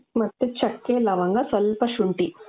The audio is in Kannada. ಮತ್ತೆ ಚೆಕ್ಕೆ ಲವಂಗ ಸ್ವಲ್ಪ ಶುಂಟಿ .